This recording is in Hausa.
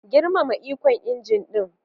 Girmama ikon injin din.